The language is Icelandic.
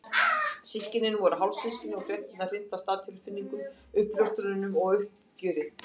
Systkinin voru hálfsystkin og fréttirnar hrintu af stað tilfinningum, uppljóstrunum og uppgjöri.